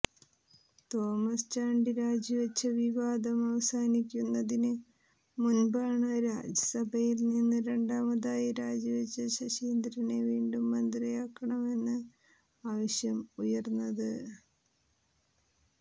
Thomas Chandy രാജിവച്ച വിവാദം അവസാനിക്കുന്നതിന് മുൻപാണ് മന്ത്രിസഭയിൽ നിന്ന് രണ്ടാമതായി രാജിവച്ച ശശീന്ദ്രനെ വീണ്ടും മന്ത്രിയാക്കണമെന്ന് ആവശ്യം ഉയർന്നത്